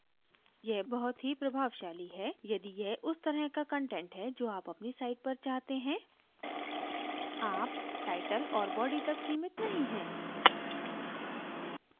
यह बहुत ही प्रभावशाली है यदि यह उस तरह का कंटेंट है जो आप अपनी site पर चाहते हैं आप title औऱ body तक सीमित नहीं है